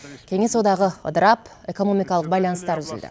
кеңес одағы ыдырап экономикалық байланыстар үзілді